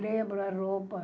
Lembro a roupa.